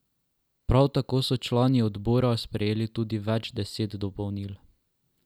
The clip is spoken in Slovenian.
Prav tako so člani odbora sprejeli tudi več deset dopolnil.